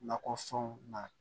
Nakɔfɛnw na